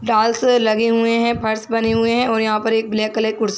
डालसे लगे हुए है फर्श बने हुए है और यहाँ पर एक ब्लैक कलर की कुर्सी --